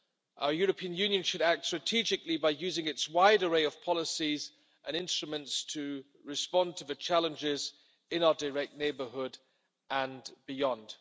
Our European Union should act strategically by using its wide array of policies and instruments to respond to the challenges in our direct neighbourhood and beyond.